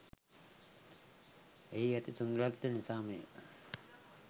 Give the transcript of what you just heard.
එහි ඇති සුන්දරත්වය නිසාමය.